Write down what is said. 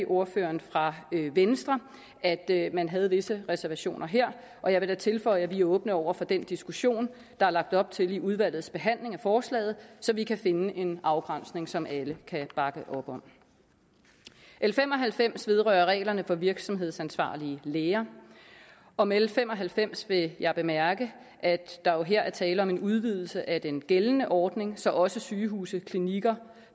ordføreren fra venstre at at man havde visse reservationer her og jeg vil da tilføje at vi er åbne over for den diskussion der er lagt op til i udvalgets behandling af forslaget så vi kan finde en afgrænsning som alle kan bakke op om l fem og halvfems vedrører reglerne for virksomhedsansvarlige læger om l fem og halvfems vil jeg bemærke at der jo her er tale om en udvidelse af den gældende ordning så også sygehuse klinikker